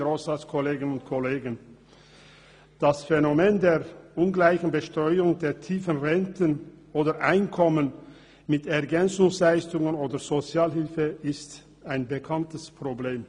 Das Phänomen der ungleichen Besteuerung der tiefen Renten oder Einkommen mit Ergänzungsleistungen oder Sozialhilfe ist ein bekanntes Problem.